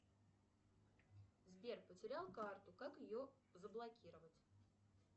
сбер потерял карту как ее заблокировать